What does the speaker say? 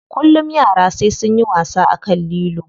Kullum yara sai sunyi wasa akan lilo.